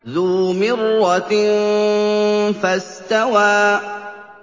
ذُو مِرَّةٍ فَاسْتَوَىٰ